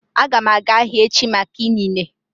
Aga m aga ahịa echi maka inine